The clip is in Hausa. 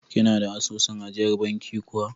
Kina da asusun ajiyar banki kuwa?